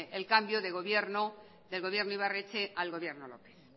el cambio de gobierno ibarretxe al gobierno lópez